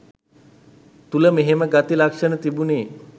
තුල මෙහෙම ගති ලක්ෂණ තිබුනෙ